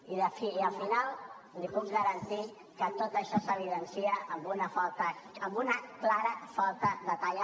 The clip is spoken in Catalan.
i al final li puc garantir que tot això s’evidencia amb una clara falta de talla